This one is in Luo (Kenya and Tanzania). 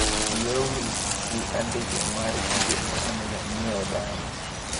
Wiya owil gi andike mar gigo maonego anyiew dala.